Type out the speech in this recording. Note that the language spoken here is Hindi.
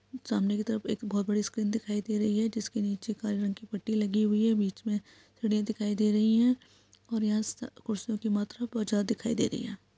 सामने की तरफ एक बहोत बड़ी स्क्रीन दिखाई दे रही है। जिसके नीचे काले कलर की पट्टी लगी हुई है बीच मे थड़िया दिखाई दे रही हैं। यहां स कुर्सियों की मात्रा बहोत ज्यादा दिखाई दे रही है।